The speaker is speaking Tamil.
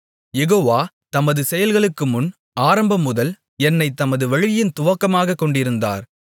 யெகோவா தமது செயல்களுக்குமுன் ஆரம்பமுதல் என்னைத் தமது வழியின் துவக்கமாகக்கொண்டிருந்தார்